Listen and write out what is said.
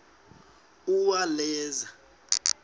uwaleza